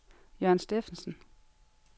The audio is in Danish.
Jørn Steffensen